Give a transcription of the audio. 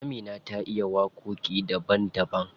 Amina ta iya waƙoƙi daban daban.